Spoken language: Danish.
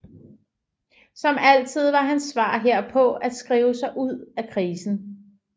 Som altid var hans svar herpå at skrive sig ud af krisen